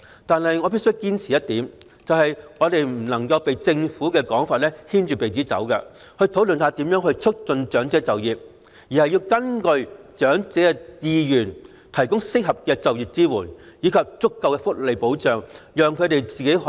但我必須堅持一點，就是我們在討論如何促進長者就業時不能被政府的說法牽着鼻子走，而是要根據長者的意願提供合適的就業支援和足夠的福利保障，讓他們可以選擇自己的人生和生活。